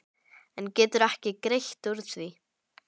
En geturðu ekki greitt úr því?